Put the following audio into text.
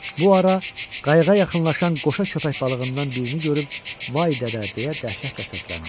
Bu ara qayıqa yaxınlaşan qoşa köpək balığından birini görüb "Vay dədə!" deyə dəhşətlə səsləndi.